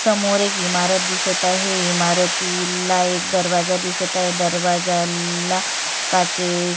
समोर एक इमारत दिसत आहे इमारतीला एक दरवाजा दिसत आहे दरवाजाला काचे--